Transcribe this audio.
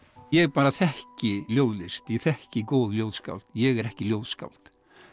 ég bara þekki ljóðlist ég þekki góð ljóðskáld ég er ekki ljóðskáld